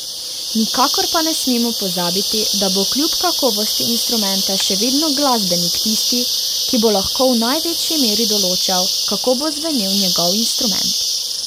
Nikakor pa ne smemo pozabiti, da bo kljub kakovosti instrumenta še vedno glasbenik tisti, ki bo lahko v največji meri določal, kako bo zvenel njegov instrument.